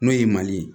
N'o ye mali ye